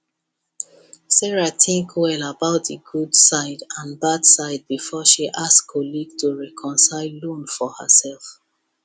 sarah think well about the good side and bad side before she ask colleague to cosign loan for herself